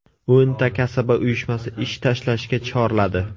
O‘nta kasaba uyushmasi ish tashlashga chorladi.